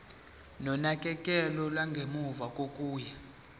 nonakekelo lwangemuva kokuya